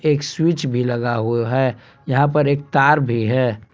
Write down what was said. एक स्विच भी लगा हुआ है यहा पर एक तार भी है।